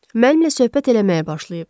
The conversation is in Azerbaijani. Mənimlə söhbət eləməyə başlayıb.